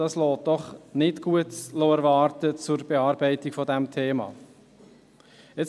Das lässt nichts Gutes für die Bearbeitung dieses Themas erwarten.